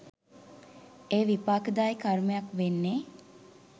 එය විපාකදායි කර්මයක් වෙන්නේ